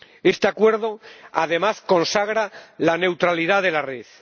Este acuerdo, además, consagra la neutralidad de la red.